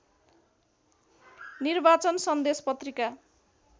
निर्वाचन सन्देश पत्रिका